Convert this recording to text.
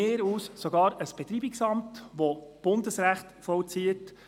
– Meinetwegen sogar ein Betreibungsamt, welches Bundesrecht vollzieht.